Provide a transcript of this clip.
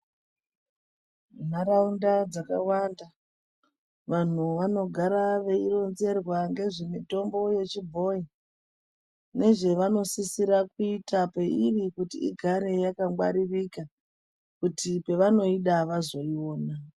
Ndaraunda dzakawanda vanhu vanogara veironzerwa ngezve mitombo yechibhoyi nezvevanosisira kuita peiri kuti igare yakangwaririka kuti pavanoida vazoiona .